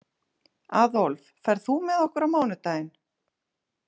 Aðólf, ferð þú með okkur á mánudaginn?